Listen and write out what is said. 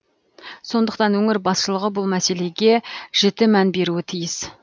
сондықтан өңір басшылығы бұл мәселеге жіті мән беруі тиіс